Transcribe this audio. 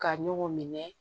Ka ɲɔgɔn minɛ